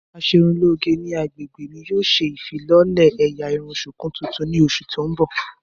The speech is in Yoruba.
Aṣerunlòge ni agbegbeọ́ mi yoo ṣe ifilọlẹ ẹ́yá irun shuku tuntun ni oṣu ti n bọ.